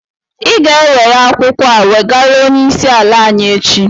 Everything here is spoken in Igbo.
Ị ga-enwere akwụkwọ a wegara onyeisi ala anyị échi